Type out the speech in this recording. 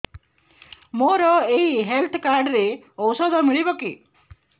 ମୋର ଏଇ health card ରେ ଔଷଧ ମିଳିବ କି